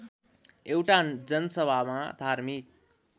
एउटा जनसभामा धार्मिक